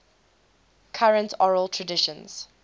current oral traditions